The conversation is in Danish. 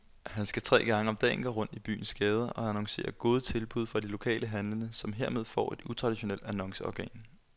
Han skal tre gange om dagen gå rundt i byens gader og annoncere gode tilbud fra de lokale handlende, som hermed får et utraditionelt annonceorgan.